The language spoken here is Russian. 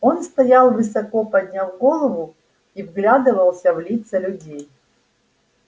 он стоял высоко подняв голову и вглядывался в лица людей